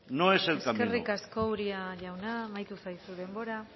no es el camino eskerrik asko uria jauna amaitu zaizu denbora